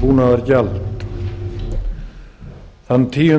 búnaðargjald þann tíu